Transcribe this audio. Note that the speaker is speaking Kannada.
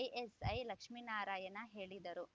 ಎಎಸೈ ಲಕ್ಷ್ಮಿನಾರಾಯಣ ಹೇಳಿದರು